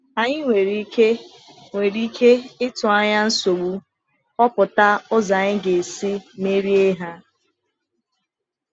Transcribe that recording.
Ànyị nwere ike nwere ike ịtụ anya nsogbu, họpụta ụzọ anyị ga-esi merie ha.